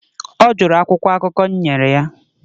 ọ jụrụ akwụkwọ akụkọ m nyere ya